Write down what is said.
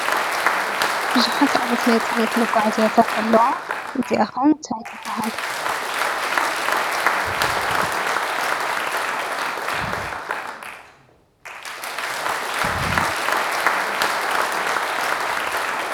ብዙሓት ዓይነት ናይ ፅዕነት መጉዓዝያታት ኣለዋ እዚኣ ኸ ታይ ትበሃል ?